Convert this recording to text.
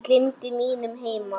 Ég gleymdi mínum heima